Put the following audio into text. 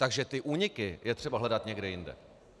Takže ty úniky je třeba hledat někde jinde.